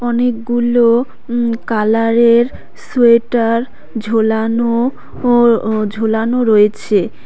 অনেকগুলো উম কালারের সোয়েটার ঝোলানো ও ঝোলানো রয়েছে।